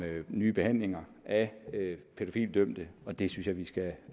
nye behandlinger af pædofilidømte og det synes jeg vi skal